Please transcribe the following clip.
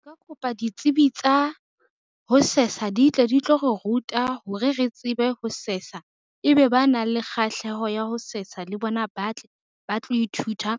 Nka kopa ditsebi tsa ho sesa di tle di tlo re ruta hore re tsebe ho sesa, ebe ba nang le kgahleho ya ho sesa le bona ba tle, ba tlo ithuta